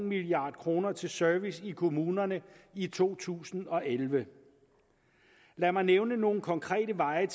milliard kroner til service i kommunerne i to tusind og elleve lad mig nævne nogle konkrete veje